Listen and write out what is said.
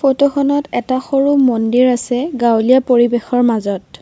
ফটোখনত এটা সৰু মন্দিৰ আছে গাঁৱলীয়া পৰিৱেশৰ মাজত।